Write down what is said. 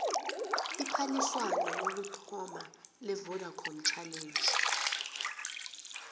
iphaliswano lokuthoma levodacom challenge